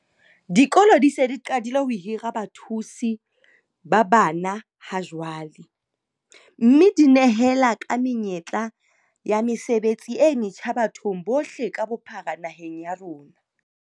Dikolo di se di qadile ho hira bathusi bana ha jwale, mme di nehela ka menyetla e ya mesebetsi e metjha bathong bohle ka bophara naheng ya rona.